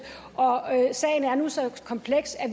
og sagen er nu så kompleks at